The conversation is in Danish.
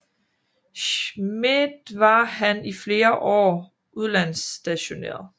Schmidt var han i flere år udlandsstationeret